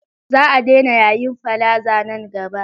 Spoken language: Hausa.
Za a daina yayin palaza nan gaba.